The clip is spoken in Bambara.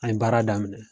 An ye baara daminɛ